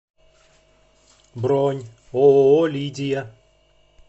бронь ооо лидия